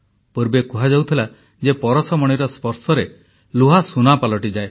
ପୂର୍ବେ କୁହାଯାଉଥିଲା ଯେ ପରଶମଣିର ସ୍ପର୍ଶରେ ଲୁହା ସୁନା ପାଲଟିଯାଏ